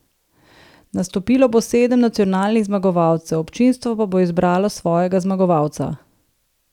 Nastopilo bo sedem nacionalnih zmagovalcev, občinstvo pa bo izbralo svojega zmagovalca.